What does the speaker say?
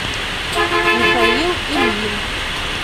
михаил ильин